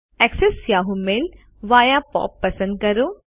access Yahoo mail via POP પસંદ કરો